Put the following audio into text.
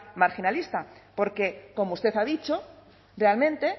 marginalista porque como usted ha dicho realmente